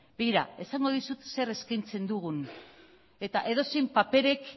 begira esango dizut zer eskaintzen dugun eta edozein paperek